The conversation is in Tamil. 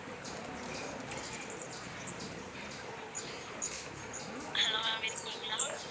hello ma'am இருக்கீங்களா